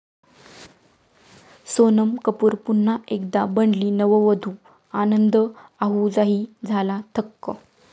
सोनम कपूर पुन्हा एकदा बनली नववधू, आनंद आहुजाही झाला थक्क!